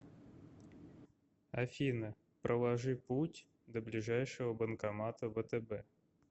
афина проложи путь до ближайшего банкомата втб